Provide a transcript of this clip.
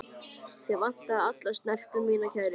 Þig vantar alla snerpu, minn kæri.